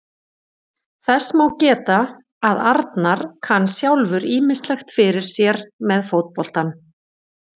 Þess má geta að Arnar kann sjálfur ýmislegt fyrir sér með fótboltann.